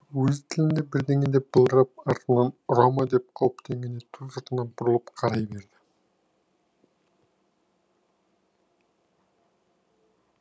өз тілінде бірдеңе деп былдырап артымнан ұра ма деп қауіптенгендей ту сыртына бұрылып қарай берді